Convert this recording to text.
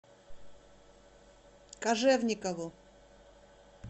кожевникову